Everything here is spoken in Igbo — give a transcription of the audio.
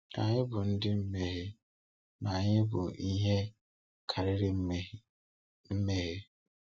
Anyị bụ ndị mmehie, ma anyị bụ ihe karịrị mmehie. mmehie.